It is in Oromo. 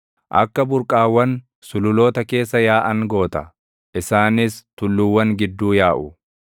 Akka burqaawwan sululoota keessa yaaʼan goota; isaanis tulluuwwan gidduu yaaʼu.